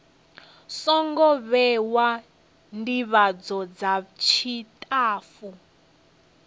songo vhewa ndivhadzo dza tshitafu